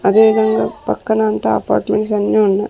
అదేవిధంగా పక్కన అంతా అపార్ట్మెంట్స్ అన్నీ ఉన్నాయి.